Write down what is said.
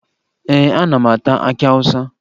Ee, ana m ata akị Awụsa